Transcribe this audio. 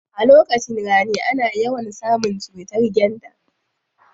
A lokacin rani ana yawan samun cutar gyanda.